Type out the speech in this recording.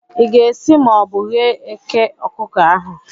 Ị ga-esi ma ọ bụ ghee eke okuko ahu?